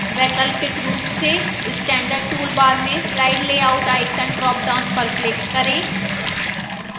वैकल्पिक रूप से standard toolbar में slide layout icon drop down पर click करें